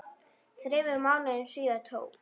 Þremur mánuðum síðar tók